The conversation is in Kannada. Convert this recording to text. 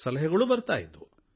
ಸಲಹೆಗಳೂ ಬರ್ತಾ ಇದ್ವು